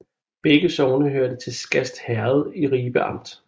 Begge sogne hørte til Skast Herred i Ribe Amt